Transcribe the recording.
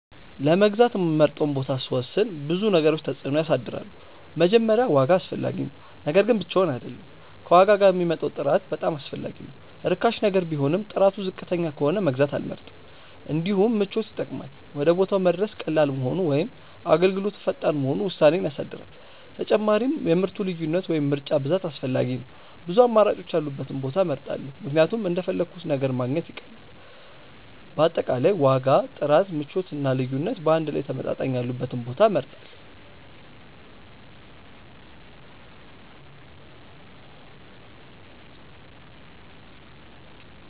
ለመግዛት የምመርጠውን ቦታ ሲወስን ብዙ ነገሮች ተጽዕኖ ያሳድራሉ። መጀመሪያ ዋጋ አስፈላጊ ነው፤ ነገር ግን ብቻውን አይደለም፣ ከዋጋ ጋር የሚመጣው ጥራት በጣም አስፈላጊ ነው። ርካሽ ነገር ቢሆንም ጥራቱ ዝቅተኛ ከሆነ መግዛት አልመርጥም። እንዲሁም ምቾት ይጠቅማል፤ ወደ ቦታው መድረስ ቀላል መሆኑ ወይም አገልግሎቱ ፈጣን መሆኑ ውሳኔዬን ያሳድራል። ተጨማሪም የምርቱ ልዩነት ወይም ምርጫ ብዛት አስፈላጊ ነው፤ ብዙ አማራጮች ያሉበትን ቦታ እመርጣለሁ ምክንያቱም እንደፈለግሁት ነገር ማግኘት ይቀላል። በአጠቃላይ ዋጋ፣ ጥራት፣ ምቾት እና ልዩነት በአንድ ላይ ተመጣጣኝ ያሉበትን ቦታ እመርጣለሁ።